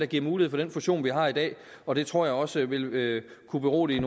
giver mulighed for den fusion vi har i dag og det tror jeg også vil vil kunne berolige